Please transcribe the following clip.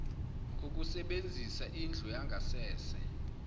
kokusebenzisa indlu yangasese